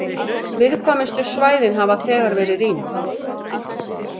Viðkvæmustu svæðin hafa þegar verið rýmd